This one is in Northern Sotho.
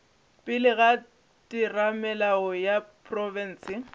pele ga theramelao ya profense